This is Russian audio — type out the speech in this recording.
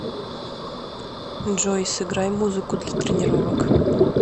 джой сыграй музыку для тренировок